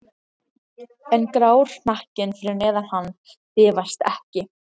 En grár hnakkinn fyrir neðan hann bifast ekki.